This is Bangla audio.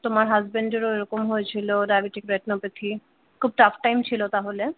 তোমার husband এর ও এরকম হয়েছিল diabetic retinopathy খুব টাফ টাইম ছিল তাহলে ।